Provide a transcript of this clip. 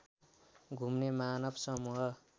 घुम्ने मानव समूह